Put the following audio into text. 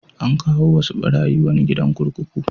An kawo wasu ɓarayi wani gidan kurkuku.